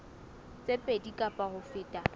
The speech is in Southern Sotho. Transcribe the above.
tse pedi kapa ho feta